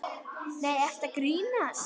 Nei, ertu að grínast?